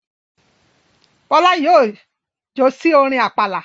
Bọ́lá yóò jó sí orin àpàlà.